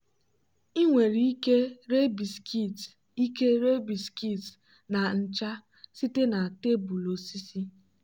ị nwere ike ree biscuits ike ree biscuits na ncha site na tebụl osisi.